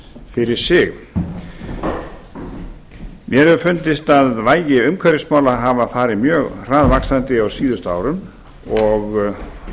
fyrir sig mér hefur fundist vægi umhverfismála hafa farið mjög hraðvaxandi á síðustu árum og